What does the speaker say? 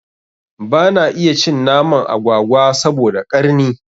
Bana iya cin naman agwagwa saboda ƙarni